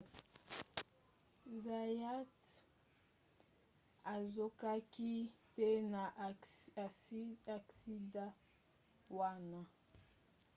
zayat azokaki te na aksida wana